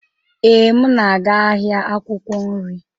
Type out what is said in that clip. Ee, m na-aga ahịa akwụkwọ nri.